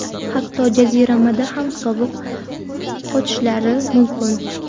hatto jaziramada ham sovuq qotishlari mumkin.